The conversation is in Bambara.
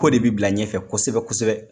K'o de bi bila ɲɛfɛ kosɛbɛ kosɛbɛ.